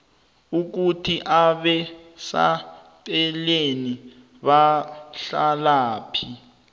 ukuthi abasecaleni bahlalaphi